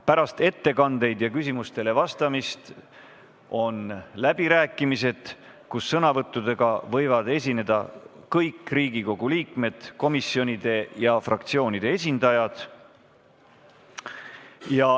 Pärast ettekandeid ja küsimustele vastamist on läbirääkimised, kus sõna võivad võtta kõik Riigikogu liikmed, komisjonide ja fraktsioonide esindajad.